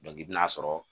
i bɛ n'a sɔrɔ